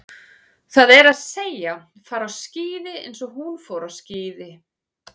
Það er að segja, fara á skíði eins og hún fór á skíði.